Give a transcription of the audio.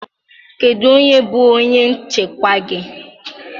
Kedu onye bụ onye nchịkwa gị?